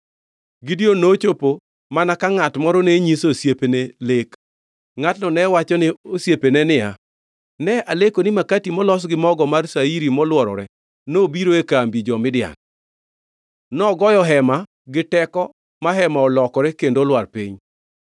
Gideon nochopo mana ka ngʼat moro ne nyiso osiepene lek. Ngʼatno ne wachone osiepene niya, “Ne aleko ni makati molos gi mogo mar shairi molworore nobiro e kambi jo-Midian. Nogoyo hema gi teko ma hema olokore kendo olwar piny.”